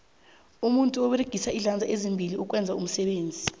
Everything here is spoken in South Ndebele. umuntu uberegisa izandla ezimbili ukwenza iimisebenzi